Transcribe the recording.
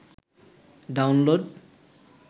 download